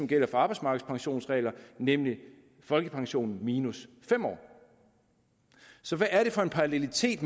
gælder for arbejdsmarkedspensioner nemlig folkepensionen minus fem år så hvad er det for en parallelitet